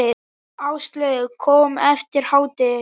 Áslaug kom eftir hádegi.